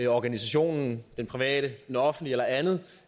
organisationen den private den offentlige eller andet